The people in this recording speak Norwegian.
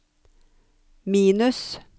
minus